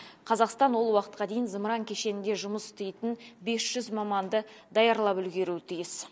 қазақстан ол уақытқа дейін зымыран кешенінде жұмыс істейтін бес жүз маманды даярлап үлгеруі тиіс